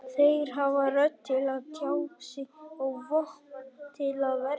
Þeir hafa rödd til að tjá sig og vopn til að verjast.